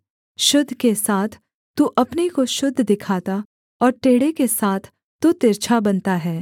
शुद्ध के साथ तू अपने को शुद्ध दिखाता और टेढ़े के साथ तू तिरछा बनता है